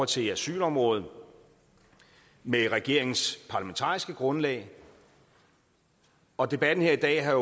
til asylområdet med regeringens parlamentariske grundlag og debatten her i dag har